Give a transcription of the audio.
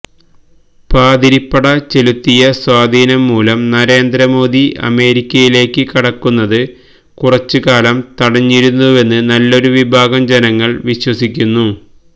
പാതിരിപ്പട ചെലുത്തിയ സ്വാധീനംമൂലം നരേന്ദ്ര മോദി അമേരിക്കയിലേക്ക് കടക്കുന്നത് കുറച്ചുകാലം തടഞ്ഞിരുന്നുവെന്ന് നല്ലൊരുവിഭാഗം ജനങ്ങള് വിശ്വസിക്കുന്നു